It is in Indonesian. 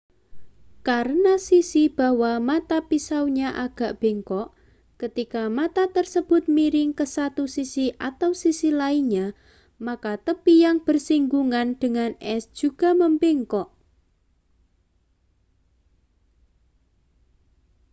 karena sisi bahwa mata pisaunya agak bengkok ketika mata tersebut miring ke satu sisi atau sisi lainnya maka tepi yang bersinggungan dengan es juga membengkok